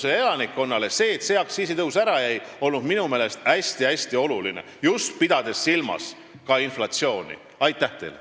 Minu meelest on see, et see aktsiisitõus ära jäi, Eesti ettevõtlusele ja elanikkonnale ka inflatsiooni silmas pidades hästi-hästi oluline.